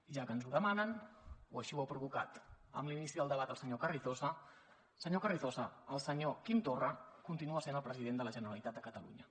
ja que ens ho demanen o així ho ha provocat amb l’inici del debat el senyor carrizosa senyor carrizosa el senyor quim torra continua sent el president de la generalitat de catalunya